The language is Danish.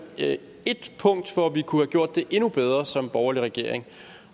et punkt hvor vi kunne have gjort det endnu bedre som borgerlig regering